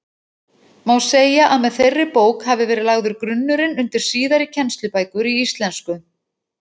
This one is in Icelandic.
Má segja að með þeirri bók hafi verið lagður grunnurinn undir síðari kennslubækur í íslensku.